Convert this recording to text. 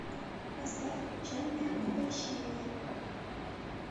поставь печальное обольщение